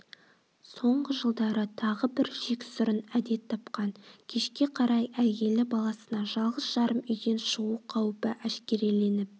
соңғы жылдары тағы бір жексұрын әдет тапқан кешке қарай әйелі баласына жалғыз-жарым үйден шығу қауіпі әшкереленіп